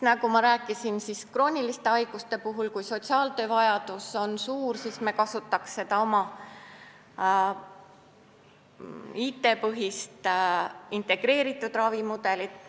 Nagu ma rääkisin krooniliste haiguste puhul, sotsiaaltöö vajadus on suur, seetõttu me kasutaks oma IT-põhist integreeritud ravimudelit.